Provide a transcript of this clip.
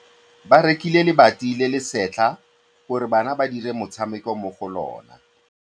Ba rekile lebati le le setlha gore bana ba dire motshameko mo go lona.